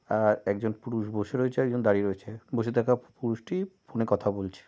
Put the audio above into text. আর একজন পুরুষ বসে রয়েছে একজন দাঁড়িয়ে রয়েছে বসে থাকা পুরুষটি ফোন -এ কথা বলছে।